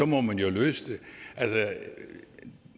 må man jo løse det